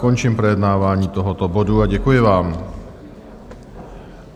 Končím projednávání tohoto bodu a děkuji vám.